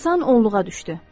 Həmin insan onluğa düşdü.